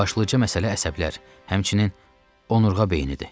Başlıca məsələ əsəblər, həmçinin onurğa beynidir.